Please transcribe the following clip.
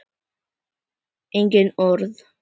Engin orð.